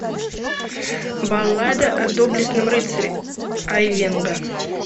баллада о доблестном рыцаре айвенго